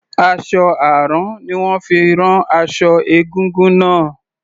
Aṣọ àrán ni wón fi rán aṣọ egúngún náà.